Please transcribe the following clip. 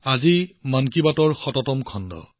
আজি হল মন কী বাতৰ শততম খণ্ড